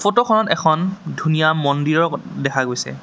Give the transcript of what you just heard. ফট খনত এখন ধুনীয়া মন্দিৰ দেখা গৈছে।